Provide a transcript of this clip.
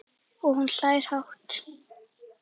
Og hún hlær hátt.